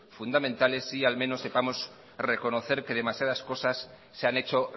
fundamentales sí al menos sepamos reconocer que demasiadas cosas se han hecho